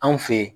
Anw fe ye